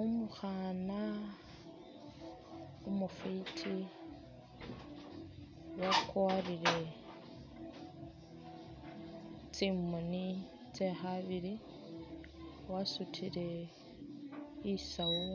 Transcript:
Umukhaana umufwiti wakwarire tsi galubindi, wasutile i'sawu